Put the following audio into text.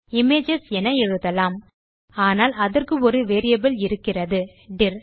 images என எழுதலாம் ஆனால் அதற்கு ஒரு வேரியபிள் இருக்கிறது டிர்